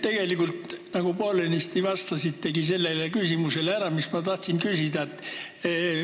Te tegelikult poolenisti juba vastasite küsimusele, mis ma tahtsin esitada.